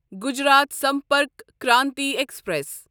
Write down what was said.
Gujarat Sampark Kranti express